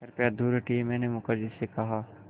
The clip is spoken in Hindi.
कृपया दूर हटिये मैंने मुखर्जी से कहा